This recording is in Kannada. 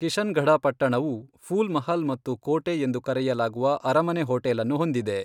ಕಿಶನ್ಗಢ ಪಟ್ಟಣವು ಫೂಲ್ ಮಹಲ್ ಮತ್ತು ಕೋಟೆ ಎಂದು ಕರೆಯಲಾಗುವ ಅರಮನೆ ಹೋಟೆಲ್ ಅನ್ನು ಹೊಂದಿದೆ.